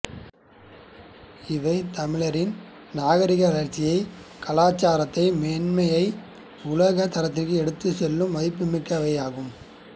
இவை தமிழரின் நாகரிக வளர்ச்சியை கலாச்சார மேன்மையை உலகத் தரத்திற்கு எடுத்துச் செல்லும் மதிப்புமிக்கவையாகும்